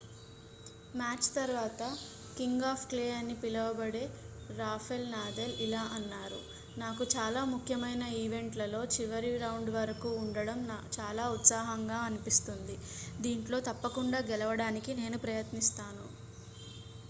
match తర్వాత king of clay అని పిలవబడే రాఫెల్ నాదల్ ఇలా అన్నారు నాకు చాలా ముఖ్యమైన ఈవెంట్లలో చివరి రౌండ్ వరకు ఉండడం చాలా ఉత్సాహంగా అనిపిస్తుంది దీంట్లో తప్పకుండా గెలవడానికి నేను ప్రయత్నిస్తాను